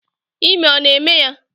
Ime ọ na eme ya?